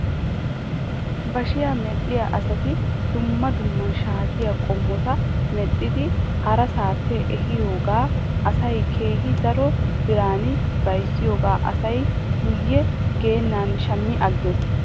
Bashiyaa medhdhiyaa asati dumma dumma shaatiyaa qommota medhdhidi harasaappe ehiyoogan asaasi keehi daro biran bayzziyoogaa asay guyye geennan shammi agges.